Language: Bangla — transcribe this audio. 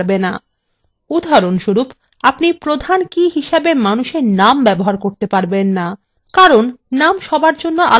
উদাহরণস্বরূপ আপনি প্রধান key হিসাবে মানুষ for names ব্যবহার করতে পারবেন names কারণ names সবার জন্য আলাদা names হতে পারে